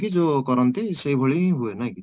ଯୋଉ କରନ୍ତି ସେଇ ଭଳି